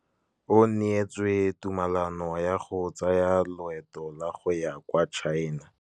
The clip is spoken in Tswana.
O neetswe tumalanô ya go tsaya loetô la go ya kwa China.